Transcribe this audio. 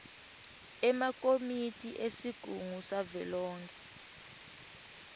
emakomiti esigungu savelonkhe